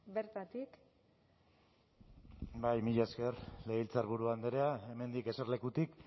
bertatik bai mila esker legebiltzarburu andrea hemendik eserlekutik